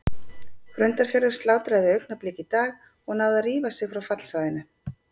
Grundarfjörður slátraði Augnablik í dag og náði að rífa sig frá fallsvæðinu.